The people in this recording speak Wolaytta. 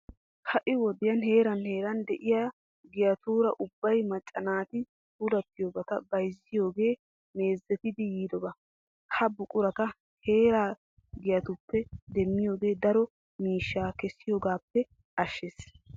Ha"i wodiyan heeran heeran de'iya giyatuura ubba macca naati puulTtiyobata bayzziyogee meezetiiddi yiidoba. Ha buqurata heeraa giyatuppe demmiyogee daro miishshaa kessiyogaappe ashshees.